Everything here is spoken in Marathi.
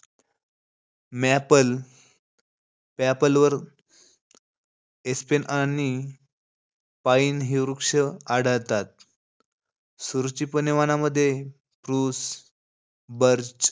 मॅपल, पॅपलर, एस्पेन आणि पाईन ही वृक्ष आढळतात. सूरचिपणी वनांमध्ये प्रूस, बर्च,